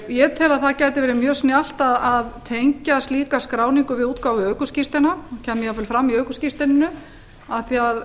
ég tel að það gæti verið mjög snjallt að tengja slíka skráningu á útgáfu ökuskírteina og kæmi jafnvel fram í ökuskírteininu af því að